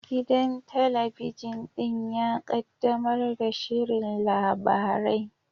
Gidan talabijin ɗin ya kaddamar da shirin labarai